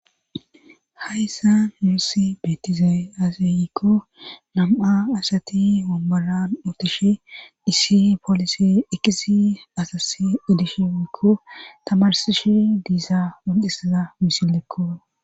Hayssa yuussi beetiza asayikko nam7a asati womboran ootishe iissi poolisi ekisi asasi edishekko tamarsishi diisa ondissaza misilekko